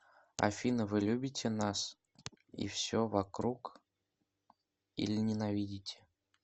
афина вы любите нас и все вокруг или ненавидите